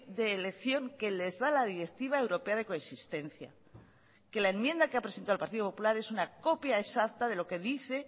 de elección que les da la directiva europea de coexistencia que la enmienda que ha presentado el partido popular es una copia exacta de lo que dice